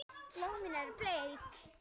Blómin eru bleik.